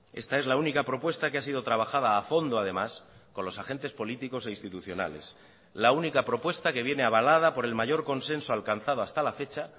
esta es la única propuesta que ha sido trabajada a fondo además con los agentes políticos e institucionales la única propuesta que viene avalada por el mayor consenso alcanzado hasta la fecha